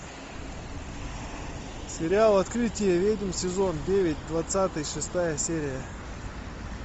сериал открытие ведьм сезон девять двадцатый шестая серия